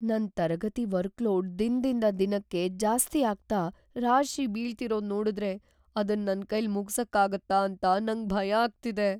ನನ್ ತರಗತಿ ವರ್ಕ್‌ಲೋಡ್ ದಿನದಿಂದ್ ದಿನಕ್ಕೆ ಜಾಸ್ತಿಯಾಗ್ತಾ ರಾಶಿ ಬೀಳ್ತಿರೋದ್‌ ನೋಡುದ್ರೆ ಅದನ್ ನನ್ಕೈಲ್ ಮುಗ್ಸಕ್ಕಾಗತ್ತಾ ಅಂತ ನಂಗ್ ಭಯ ಆಗ್ತಿದೆ.